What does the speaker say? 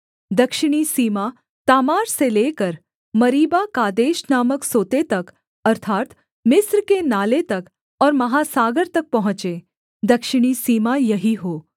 दक्षिणी सीमा तामार से लेकर मरीबाकादेश नामक सोते तक अर्थात् मिस्र के नाले तक और महासागर तक पहुँचे दक्षिणी सीमा यही हो